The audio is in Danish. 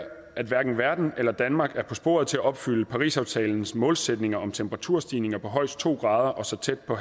at hverken verden eller danmark er på sporet til at opfylde parisaftalens målsætninger om temperaturstigninger på højst to grader og så tæt på